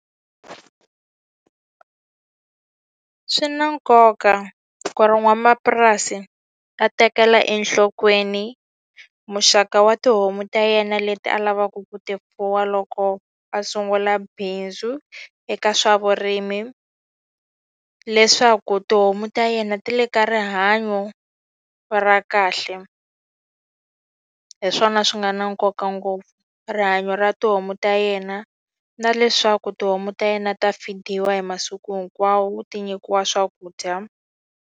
Swi na nkoka ku ri n'wamapurasi a tekela enhlokweni muxaka wa tihomu ta yena leti a lavaka ku ti fuwa loko a sungula bindzu eka swa vurimi, leswaku tihomu ta yena ti le ka rihanyo ra kahle. Hi swona swi nga na nkoka ngopfu. Rihanyo ra tihomu ta yena na leswaku tihomu ta yena ta feed-iwa hi masiku hinkwawo, ti nyikiwa swakudya.